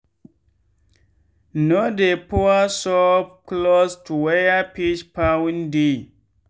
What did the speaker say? no dey pour soap close to where fish pond dey.